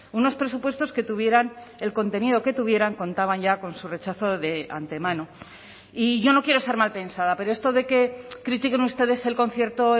unos presupuestos que tuvieran el contenido que tuvieran contaban ya con su rechazo de antemano y yo no quiero ser malpensada pero esto de que critiquen ustedes el concierto